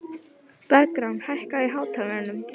Bergrán, hækkaðu í hátalaranum.